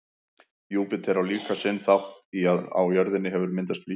júpíter á líka sinn þátt í að á jörðinni hefur myndast líf